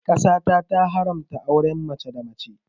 Ƙasa ta ta haramta auren mace da mace